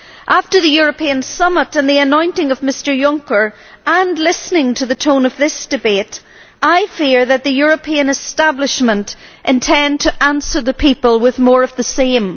After the European Summit and the anointing of Mr Juncker, and after listening to the tone of this debate, I fear that the European establishment intends to answer the people with more of the same.